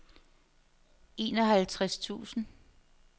enoghalvtreds tusind